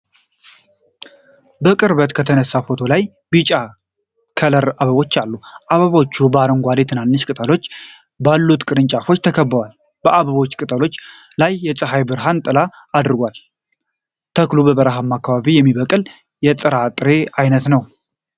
በቅርበት የተነሳ ፎቶ ላይ ቢጫ ከለር አበባዎች አሉ። አበባዎቹ በአረንጓዴ ትናንሽ ቅጠሎች ባሉት ቅርንጫፎች ተከበዋል። በአበባው ቅጠሎች ላይ የፀሐይ ብርሃን ጥላ አድርጓል። ተክሉ በበረሃማ አካባቢ የሚበቅል የጥራጥሬ አይነት ነው።